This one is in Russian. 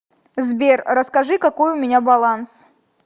сбер расскажи какой у меня баланс